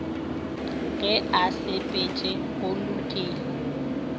ge a sepetše go lokile